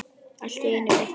Allt í einu birtist Gerður.